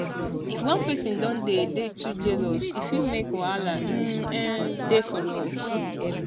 if one person don dey de too jealous e fit make wahala um um dey for love